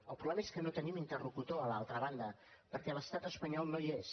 el problema és que no tenim interlocutor a l’altra banda perquè l’estat espanyol no hi és